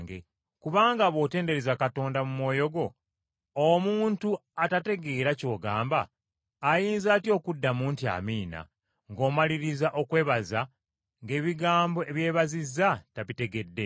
Kubanga bw’otendereza Katonda mu mwoyo gwo, omuntu atategeera ky’ogamba ayinza atya okuddamu nti, “Amiina!” ng’omaliriza okwebaza, ng’ebigambo ebyebazizza tabitegedde?